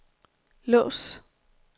lås